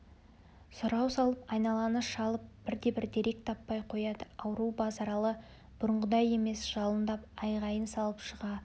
сұрау салып айналаны шалып бірде-бір дерек таппай қояды ауру базаралы бұрынғыдай емес жалындап айғайын салып шыға